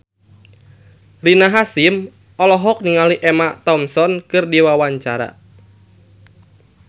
Rina Hasyim olohok ningali Emma Thompson keur diwawancara